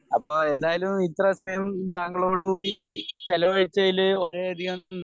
അപ്പോ ഏതായാലും ഇത്ര സമയം താങ്കളോട് കൂടി ചിലവഴിച്ചതിൽ വളരേയധികം